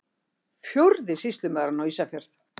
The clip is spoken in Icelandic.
Fjórði sýslumaðurinn á Ísafjörð!